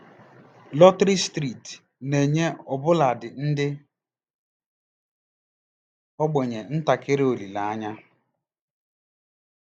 Lọtrị steeti na-enye ọbụladị ndị ogbenye ntakịrị olileanya.